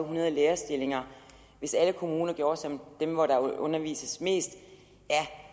hundrede lærerstillinger hvis alle kommuner gjorde som dem hvor der undervises mest ja